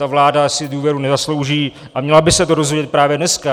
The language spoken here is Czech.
Ta vláda si důvěru nezaslouží a měla by se to dozvědět právě dneska.